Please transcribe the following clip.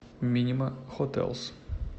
минима хотэлс